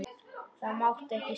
Það mátti ekki seinna vera!